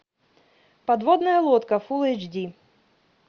подводная лодка фул эйч ди